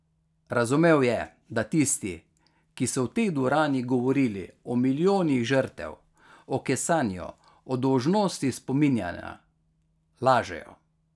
Razumel je, da tisti, ki so v tej dvorani govorili o milijonih žrtev, o kesanju, o dolžnosti spominjanja, lažejo.